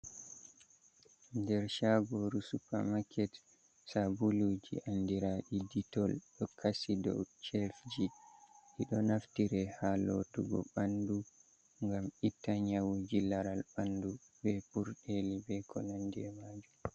Nder shagoru supermaket, sabuluji andiraɗi detol, ɗo kashi do chefji ji, ɗo naftire ha lotugo ɓandu ngam itta nyawuji laral ɓandu be purɗeli be ko nandi e majum.